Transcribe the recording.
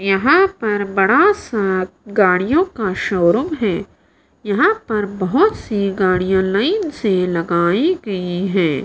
यहां पर बड़ा सां गाड़ियों का शोरूम हैं यहां पर बहोत सी गाड़ियां लाइन से लगाई गई हैं।